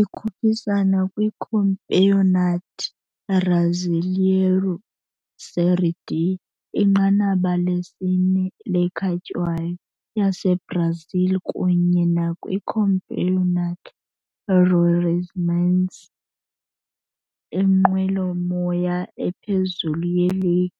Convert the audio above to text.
Ikhuphisana kwiCampeonato Brasileiro Série D, inqanaba lesine le ekhatywayo yaseBrazil, kunye nakwiCampeonato Roraimense, inqwelomoya ephezulu yeligi